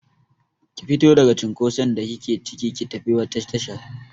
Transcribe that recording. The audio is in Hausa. Ki fito daga cinkoson da kike cike, ki tafi wata tashar!